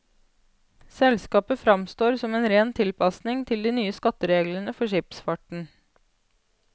Selskapet fremstår som en ren tilpasning til de nye skattereglene for skipsfarten.